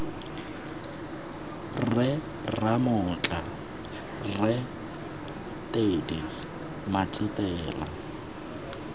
rre ramotla rre teddy matsetela